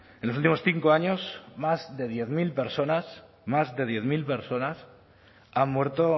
en los últimos cinco años más de diez mil personas más de diez mil personas han muerto